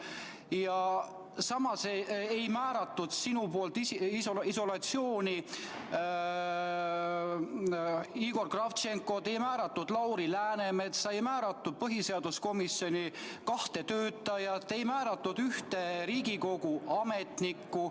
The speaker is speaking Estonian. Ja samas ei määratud sinu esitatud andmete põhjal isolatsiooni Igor Kravtšenkot, ei määratud Lauri Läänemetsa, ei määratud kahte põhiseaduskomisjoni töötajat, ei määratud ühte Riigikogu Kantselei ametnikku.